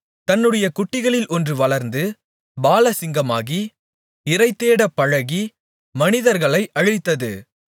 தன்னுடைய குட்டிகளில் ஒன்று வளர்ந்து பாலசிங்கமாகி இரைதேடப் பழகி மனிதர்களை அழித்தது